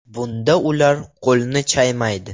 Bunda ular qo‘lni chaymaydi.